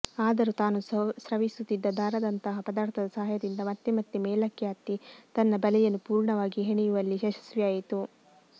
ಆದರೂ ತಾನು ಸ್ರವಿಸುತ್ತಿದ್ದ ದಾರದಂತಹ ಪದಾರ್ಥದ ಸಹಾಯದಿಂದ ಮತ್ತೆ ಮತ್ತೆ ಮೇಲಕ್ಕೆ ಹತ್ತಿ ತನ್ನ ಬಲೆಯನ್ನು ಪೂರ್ಣವಾಗಿ ಹೆಣೆಯುವಲ್ಲಿ ಯಶಸ್ವಿಯಾಯಿತು